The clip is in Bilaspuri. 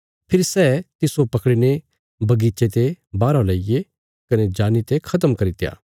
फेरी सै तिस्सो पकड़ीने बगीचे ते बाहरा लेईये कने जानी ते खत्म करित्या